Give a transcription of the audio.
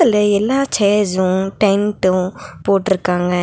இதுல எல்லா chairs tent போட்ருக்காங்க.